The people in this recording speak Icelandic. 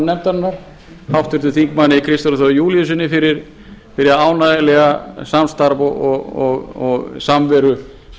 nefndarinnar háttvirtum þingmanni kristjáni þór júlíussyni fyrir ánægjulegt samstarf og samveru